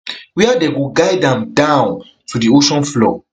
wia dem go guide am down to di ocean floor